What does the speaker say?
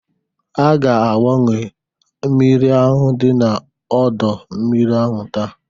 A ga agbanwe mmiri ahụ dị n'ọdọ mmiri ahụ TAA.